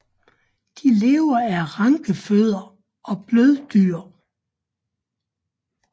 De lever af rankefødder og bløddyr